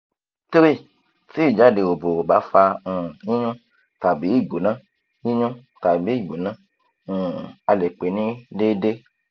3] ti ijade obo o ba fa um yinyun tabi igbona yinyun tabi igbona um ale pe ni deede